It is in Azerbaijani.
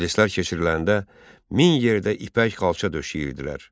Məclislər keçiriləndə min yerdə ipək xalça döşəyirdilər.